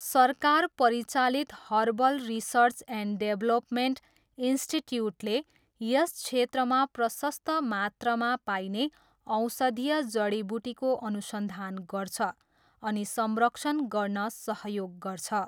सरकार परिचालित herbal research and development इन्स्टिच्युटले यस क्षेत्रमा प्रशस्त मात्रामा पाइने औषधीय जडीबुटीको अनुसन्धान गर्छ अनि संरक्षण गर्न सहयोग गर्छ।